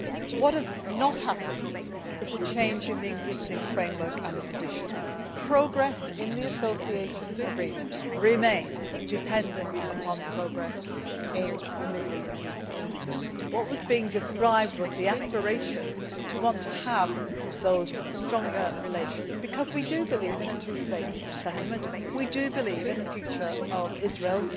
What has not happened is a change in the existing framework and the position. Progress in the association agreement remains dependent upon progress in the Middle East peace process. What was being described was the aspiration to want to have those stronger relations, because we do believe in a two state settlement and we do believe in the future of Israel.